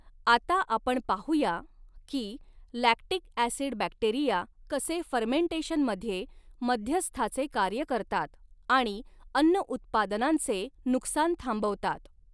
आता आपण पाहू या की लॅक्टिक ॲसिड बॅक्टेरिया कसे फर्मेंटेशनमध्ये मध्यस्थाचे कार्य करतात आणि अन्न उत्पादनांचे नुकसान थांबवतात.